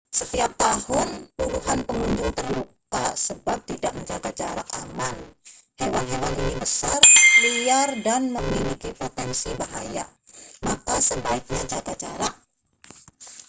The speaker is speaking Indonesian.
setiap tahun puluhan pengunjung terluka sebab tidak menjaga jarak aman hewan-hewan ini besar liar dan memiliki potensi bahaya maka sebaiknya jaga jarak